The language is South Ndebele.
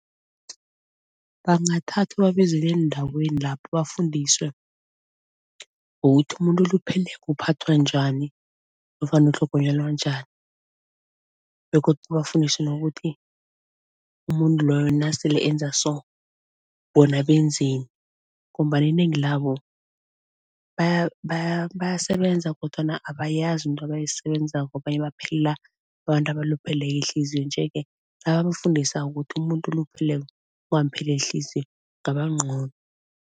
Bangathathwa babizelwe eendaweni lapho bafundiswe ngokuthi umuntu olupheleko uphathwa njani nofana ukutlhogonyelwa njani. Begodu bafundiswe nokuthi umuntu loyo nasele enza so, bona benzeni ngombana inengi labo bayasebenza kodwana abayazi into abayisebenzako, abanye baphelela abantu abalupheleko ihliziyo nje-ke nabamfundisako ukuthi umuntu olupheleko ungampheleli ihliziyo kungaba ngcono.